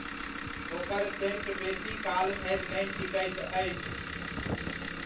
ओकर सेण्ट बेसी काल धरि नहि टिकैत अछि।